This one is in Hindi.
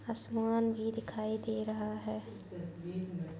असमान भी दिखाई दे रहा है।